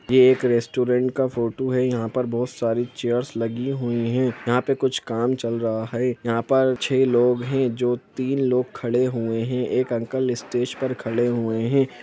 ये एक रेस्टोरेंट का फोटू है यहाँ पर बहुत सारी चेयरस लगी हुई है यहाँ पे कुछ काम चल रहा है यहाँ पर छे लोग है जो तीन लोग खड़े हुए हैं एक अंकल स्टेज पर खड़े हुए हैं।